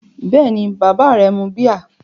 Bẹ́ẹ̀ni, bàbá rẹ mu bíà.